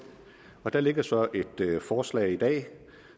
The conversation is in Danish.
og der ligger så et forslag i dag